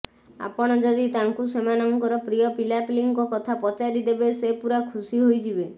ଆପଣ ଯଦି ତାଙ୍କୁ ସେମାନଙ୍କର ପ୍ରିୟ ପିଲାପିଲିଙ୍କ କଥା ପଚାରି ଦେବେ ସେ ପୁରା ଖୁସୀ ହୋଇଯିବେ